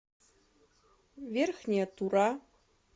верхняя тура